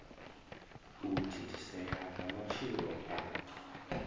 u thithisea ha matshilo a